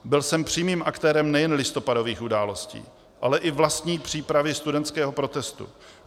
Byl jsem přímým aktérem nejen listopadových událostí, ale i vlastní přípravy studentského protestu.